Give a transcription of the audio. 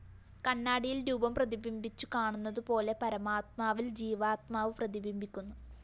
കണ്ണാടിയില്‍ രൂപം പ്രതിബിംബിച്ചു കാണുന്നതുപോലെ പരമാത്മാവില്‍ ജീവാത്മാവ് പ്രതിബിംബിക്കുന്നു